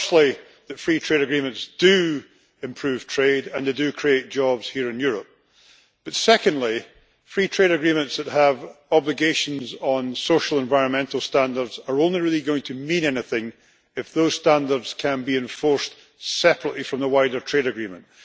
Firstly, that free trade agreements do improve trade and they do create jobs here in Europe, but secondly, free trade agreements that have obligations on social environmental standards are only really going to mean anything if those standards can be enforced separately from the wider trade agreement.